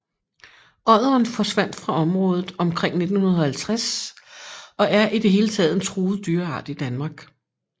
Odderen forsvandt fra området omkring 1950 og er i det hele taget en truet dyreart i Danmark